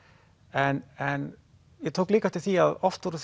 en en ég tók líka eftir því að oft voru